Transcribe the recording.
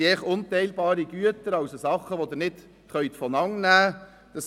Es geht um unteilbare Güter, die man nicht auseinandernehmen kann.